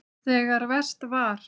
Þegar verst var.